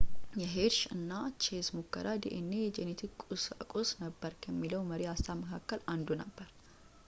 የሄርሽ እና ቼስ ሙከራ ዲኤንኤ የጄኔቲክ ቁሳቁስ ነበር ከሚለው መሪ ሃሳብ መካከል አንዱ ነበር